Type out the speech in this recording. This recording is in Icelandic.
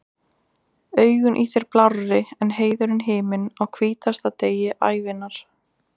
Augun í þér blárri en heiður himinn, á hvítasta degi ævinnar.